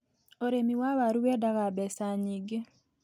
Ũrĩmi wa waru wendaga mbeca nyingĩ.